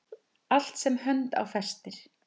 Allt sem hönd á festir.